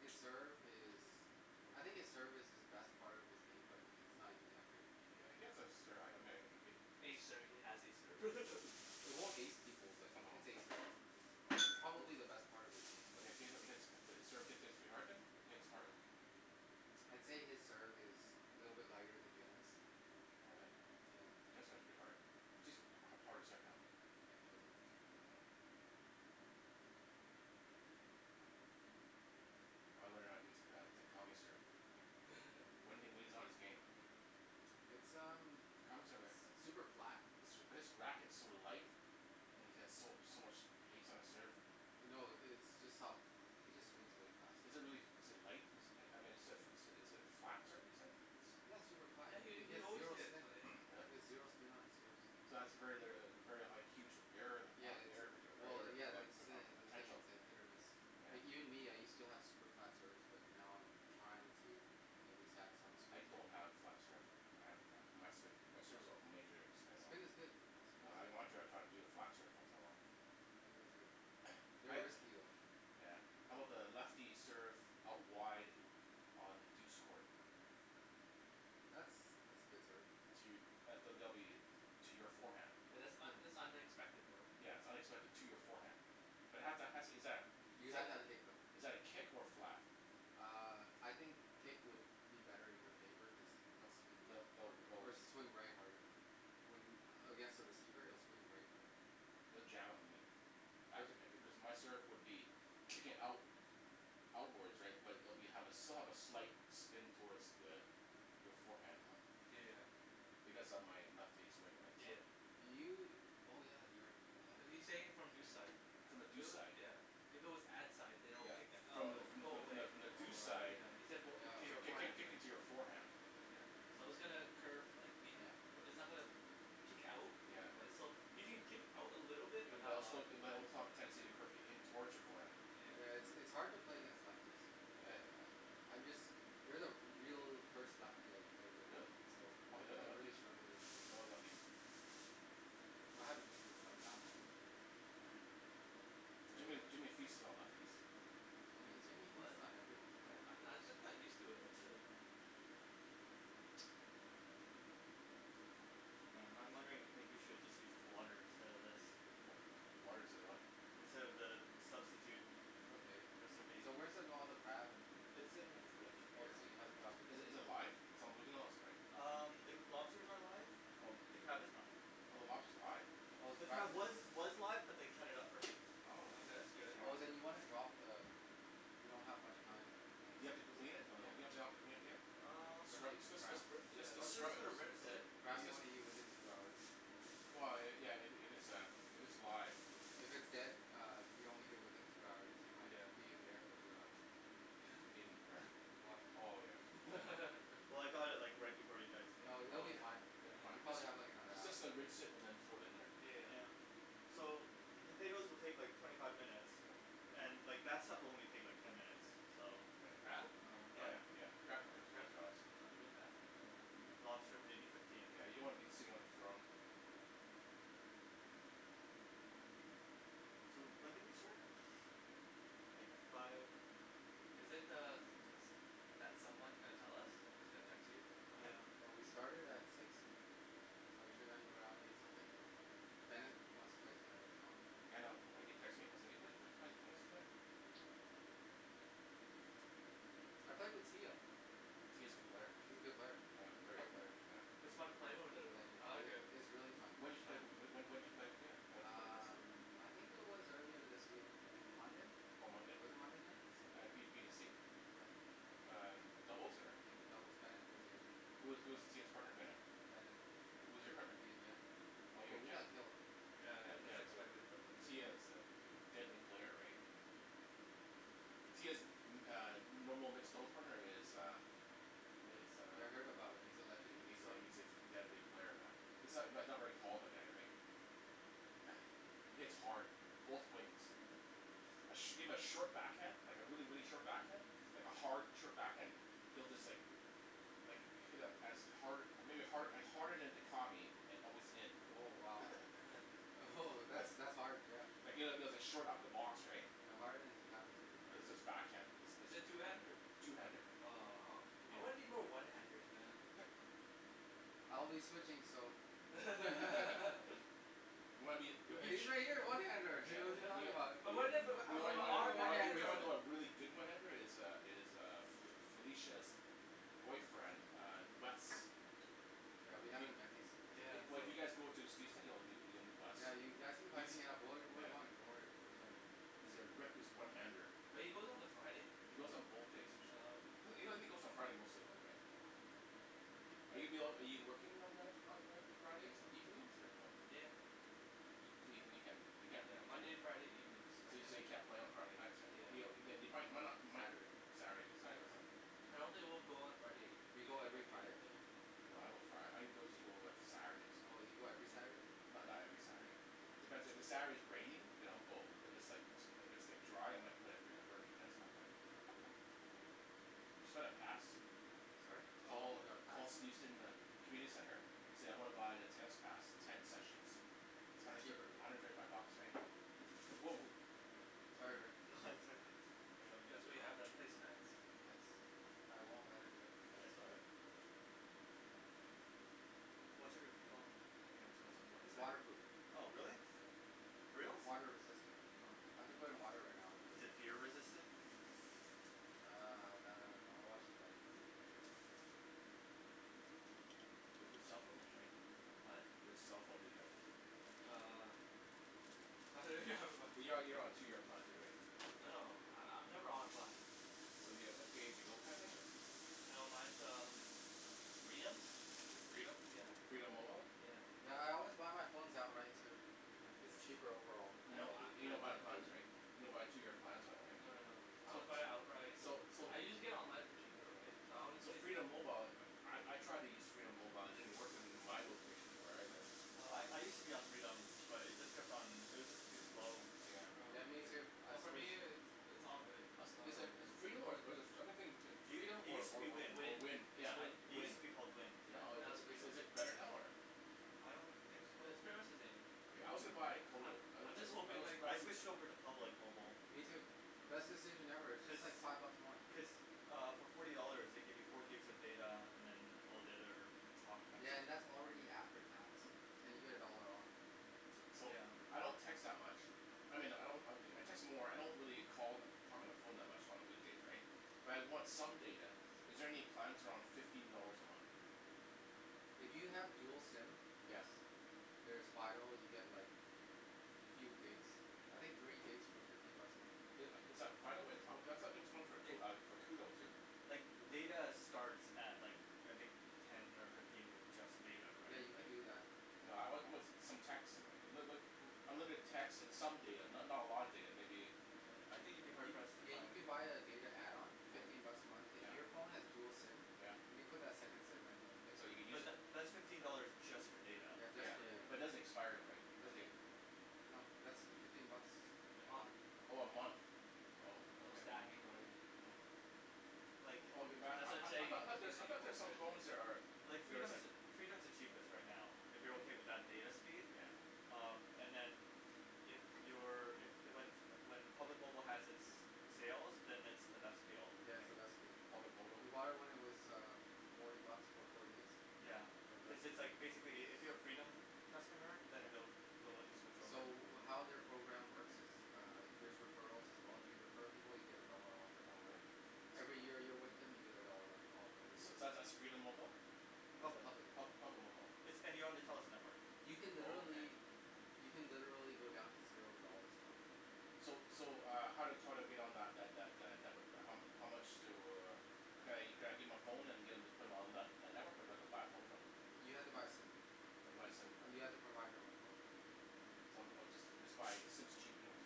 His serve is I think his serve is his best part of his game but it's not even that good I mean he has a serve, I mean he hit Ace serve he has a serve It won't ace people but No it it's probably the best part of his game but He he hits, his serve gets to be hard then, he hits hard? I'd say his serve is a little bit lighter than Jen's. All right. Yeah. Jen's serve is pretty hard, she's uh harder serve now. Yeah she has a harder serve now. I learn how to do Takami's serve, when he when he's on his game It's um s- super super flat, flat his his racket is so light and he has so so much hast on his serve No the it's just how, he just swings really fast Is it really, is it light? Is I mean is it is it a flat term you said? Yeah it's super flat Yeah and he he he he has always zero hits spin, he really? has zero spin on his serves So that's very litera- very a huge error in that, Yeah it's error potent, well yeah err that's the poten- the thing potential it's a hit or miss Like even Yeah me I used to have super flat serves but now I'm trying to at least have some I spin don't have flat serve, I have my spin, my No serves, no has major spin all. Spin is good, spin is I good wanna try to do a flat serve once in a while They're risky though Yeah I'm about lefty serve out wide on the douce court? That's that's a good serve To, that's a W to your forehand. Oh Yeah that's un- that's unexpected though. its unexpected to your forehand, but it has, exactly, You but have to have that kick though is that a kick or a flat? Uh I think kick would be better in your favor cuz it'll swing left hard or swing right harder When against a receiver it'll swing right harder It'll jam in you. Actu- cuz my serve would be kicking out outwards right but it will have be still a slight spin toward the your forehand though. Yeah Because of my lefty swing right so Yeah You oh yeah you're you're a Are lefty you He's saying it saying from from deuce deuce side, side From the deuce side yeah, if it was ad side than it would Yeah. kick it up From and it the from will the go from away the from the Oh deuce side right yeah, yeah kick- kick- right kicking to your forehand Yeah But all still it might reflect off the tendency of the curve towards your forearm Yeah it's it's hard to play against lefties I I I'm just, you're the real first lefty I've played Really? against, so How I 'bout the other I really lefties? struggle with No other lefties? I haven't been been playing that long but um yeah you're Jimmy the Jimmy feasts on all lefties Jimmy Jimmy What? feasts on everyone I I just kinda used to it, that's it Hmm I'm wondering if maybe you should just use water instead of this? Water instead of what? Instead of the substitute It's okay. recipe So where's the all the crab and. It's in the fridge Oh here so you haven't dropped it in Is is it live, its not moving lots right? Um the lobsters are live, Oh. the crab is not. Oh the Oh. lobster's live? Oh the The crab crab is was was live but they cut it up for me, Oh because its That's good easier Oh than then you wanna drop the, you don't have much time You have to clean it? No no, you don't have to clean it yeah, Um scrub Especially just just crab. I was scrub just it. gonna Just rinse it Crab you just. wanna eat within two hours. Yeah yeah if its a if it's live If it's dead uh if you don't eat it within two hours you might be in there for two hours In where? Oh yeah. Well I got it like right before you guys came, No they'll but Oh um be yeah. fine, It will be you fine. probably have like another Just hour just rinse it and then throw it in there. So the potatoes will take like twenty five minutes and like that stuff will only like take ten minutes, so The crab? Yeah Lobster maybe fifteen Yeah you don't wanna be seeing on the throne So when did they start? Like five Isn't er that someone gonna tell us, is gonna text you? Oh yeah Oh we started at six so it should end around eight something. Bennett wants to play tonight as well. Yeah I know he texted me, saying, "Hey wait are we playing tennis tonight?" I played with Tia Tia is a good player, She's a good player, oh she's a great great player, player. yeah. It's When fun playing Yeah with her though, I like it. it it's really fun did you play Yeah when when did you play with her, when did you play against Um her? I think it was earlier this week, M- Monday? On Monday? Was it Monday night, something At like b b t that c? Yeah Uh doubles or? In the doubles, Bennet was there too. Who who's Tia's partner? Bennett? Bennet Who's your partner? me and Jen. Oh you Oh and we Jen. got killed Yeah Yeah yeah that's Jen. expected though right Tia is a deadly player right? Tia's uh, normal mixed doubles partner is uh, is Yeah I uh, heard about him, he's a legend in these he's a part he's a deadly player man, he's not not very tall the guy, right? He hits hard, both wings. A shim a short back hand like a really really short backhand, like a hard short backhand he'll just like like hit a as hard a maybe hard harder than Dicami with within. Oh wow Oh ho that's that's hard yeah even at short upper box right? Yeah harder than Dicami is pretty hard Backhand. Is is two handed? I'll be switching so You'll be the Usually I get a one handed here what're you talking about But wasn't it but but Oh one handed Yeah we haven't met these these Yeah Yeah you've actually been hyping it up we're we're going doing worry we're going He's a reckless one-handed. But he goes on the Friday? He goes on both days Oh okay. usually. He only goes on Friday mostly though right? Oh okay. Are you ab- are you working on Mo- on Friday evenings? Yeah You mean, you can't Yeah, Monday and Friday evenings I can't. Yeah. Yeah. do? I don't think we'll go on Friday, Do you go even if I every can. Friday? Oh you go every Saturday? Not not every Saturday. Sorry? Oh oh you got a pass? Community center. So I wanna buy the tennis pass, ten sessions. It's hundred cheaper thirty five bucks, right? Whoa Sorry Rick here let me get you That's what a you towel have, that's place mats I won't let it drip Oh it's all right Watch out of the phone, okay, its the most important It's thing. water proof Oh really? Yeah For reals? Water resistant Oh. I could put it in water right now and I'd Is it be okay beer resistant? Uh that I don't know I watch the Which cellphone do you have Jimmy? Oh? Which cellphone do you have? Uh You're you're on a two year plan too, right? No no I I'm never on plan. So you have like a pay as you go plan thing or No mine's uh Freedom. Freedom? Yeah. Freedom mobile? Yeah Yeah. yeah I always buy my phone outright too, its cheaper overall Hmm? You don't buy plans, right? You don't buy two year plans on it No no no. right? I always buy it outright, So. So so I can get it online for cheaper, right, so So Freedom mobile, I I tried to use Freedom mobile, it didn't work in my location where I live. I I Oh use to be on Freedom, but it just kept on, it was just too slow Yeah Yeah me too, I Oh for me switched it's it's all good As is is Yeah Freedom or or is it or I been thinking It Freedom it or use to or be or Wind, Wind. Wind? It's Wind. it use Wind. to be called Wind. Yeah, Or now it's Is Freedom. is it better now, or? I don't think so. No it's pretty much the same Yeah, I also buy Kodo. I I also, just I hoping also like I switched over to Public mobile. Me too, best decision ever it's Cuz, just like five bucks more Cuz uh for forty dollars they give you four gigs of data and then all the other Yeah and that's already after tax and you get a dollar off So Yeah I don't text that much, I mean I don't I I text more I don't really call talk on the phone much on the weekdays right but I want some data, is there any plans around fifteen dollars a month? If you have dual Hmm SIM Yes yes There's Fido you get like few gigs I think three gigs for fifteen bucks a month Is is that Fido? Uh I thought there was one Like uh for Koodo too? like data starts at like I think ten or fifteen with just data Yeah right you can like do that No I I want some texting right, but but unlimited text and some data, not not a lot of data maybe Yeah, I think you'd be hard You pressed to yeah find you can buy a data add-on fifteen bucks a month. If Yeah your phone has dual SIM Yeah you can put that second SIM in So there you use But tha- that's fifteen dollars just for data Yeah just Yeah, for data but it Yeah doesn't expire right, the Doesn't data? No that's fifteen bucks A month um Oh a month. Oh, And no ok. Hmm stacking or anything Like I That's what I'm I I saying thought there's I thought there's some phone that are Like there's Freedom's like the, Freedom's the cheapest right now if you're okay with that data speed, Yeah um, and then if you're, if, the when when Public Mobile has it's sale then it's the best deal I That's think the best deal Public mobile Did you buy it when it was uh forty bucks for four gigs? Yeah. Yeah that's Cuz the it's like one basically if you're a Freedom customer then Yeah they'll they'll let you switch over. So how their program works is Uh there's referrals as well, if you refer people you get a dollar off Oh every month really? Every year you're with them you get a dollar off every So month that's that's Freedom Mobile? No it's Public. Public Pub- Mobile Public Mobile. It's, and you're on the Telus network You can Oh okay. literally you can literally go down to zero dollars a month. So so uh how how do I get on that that that network, how mu- how much do, could I could I give my phone and get em to put on that that network or do I haffa buy a phone from them? You have to buy a SIM, I have to buy a SIM card. you have to provide your own phone. Some or just just buy a SIM's cheap anyways.